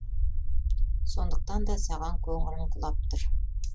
сондықтан да саған көңілім құлап тұр